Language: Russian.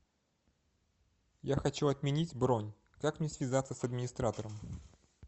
я хочу отменить бронь как мне связаться с администратором